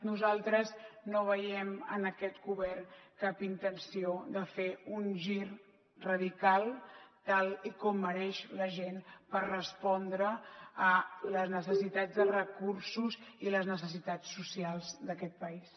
nosaltres no veiem en aquest govern cap intenció de fer un gir radical tal com mereix la gent per respondre a les necessitats de recursos i les necessitats socials d’aquest país